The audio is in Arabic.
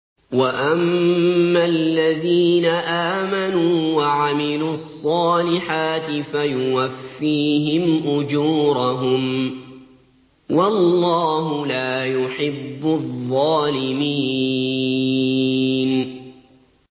وَأَمَّا الَّذِينَ آمَنُوا وَعَمِلُوا الصَّالِحَاتِ فَيُوَفِّيهِمْ أُجُورَهُمْ ۗ وَاللَّهُ لَا يُحِبُّ الظَّالِمِينَ